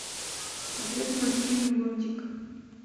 смотреть мультфильм лунтик